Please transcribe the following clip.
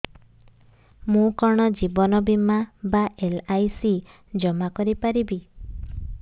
ମୁ କଣ ଜୀବନ ବୀମା ବା ଏଲ୍.ଆଇ.ସି ଜମା କରି ପାରିବି